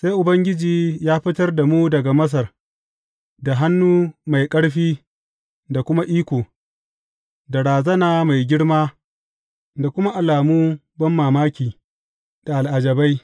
Sai Ubangiji ya fitar da mu daga Masar da hannu mai ƙarfi da kuma iko, da razana mai girma da kuma alamu banmamaki da al’ajabai.